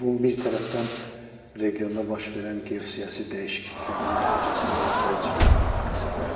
Bu bir tərəfdən regionda baş verən geosiyasi dəyişikliklərin nəticəsində ortaya çıxan səfərdir.